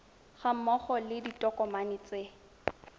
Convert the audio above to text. ga mmogo le ditokomane tse